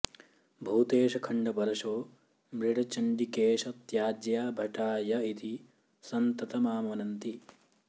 भूतेश खण्डपरशो मृड चण्डिकेश त्याज्या भटा य इति सन्ततमामनन्ति